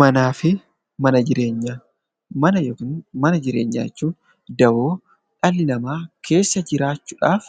Manaa fi mana jireenyaa Mana yookiin mana jireenyaa jechuun dawoo dhalli namaa keessa jiraachuu dhaaf